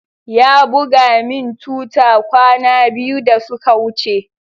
Ya buga min tuta kwana biyu da suka wuce.